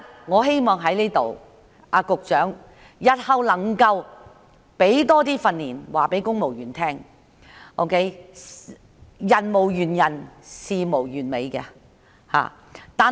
我希望局長日後加強訓練，讓公務員知道人無完人、事無完美。